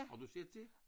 Har du set det?